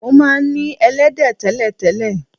Mo máa ń e̩lé̩dé̩ té̩lè̩té̩lè̩.